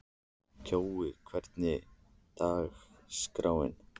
Kjói, hvernig er dagskráin?